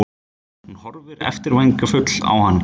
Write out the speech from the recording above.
Hún horfir eftirvæntingarfull á hann.